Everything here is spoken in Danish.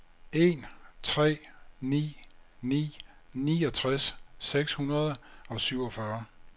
en tre ni ni niogtres seks hundrede og syvogfyrre